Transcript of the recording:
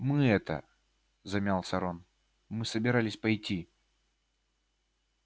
мы это замялся рон мы собирались пойти